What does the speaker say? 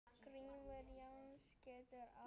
Grímur Jónsson getur átt við